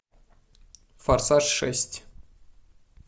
форсаж шесть